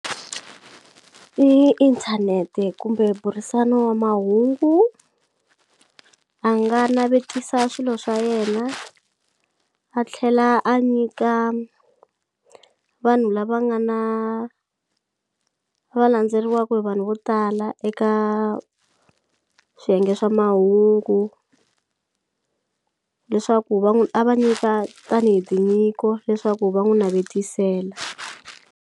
I inthanete kumbe burisano wa mahungu a nga navetisa swilo swa yena a tlhela a nyika vanhu lava nga na va landzeriwaku hi vanhu vo tala eka swiyenge swa mahungu leswaku va n'wi a va nyika tanihi tinyiko leswaku va n'wu navetisela.